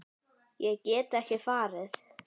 Ég get ekki farið.